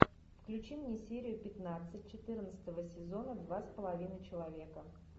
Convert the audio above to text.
включи мне серию пятнадцать четырнадцатого сезона два с половиной человека